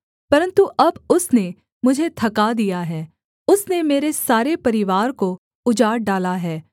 परन्तु अब उसने मुझे थका दिया है उसने मेरे सारे परिवार को उजाड़ डाला है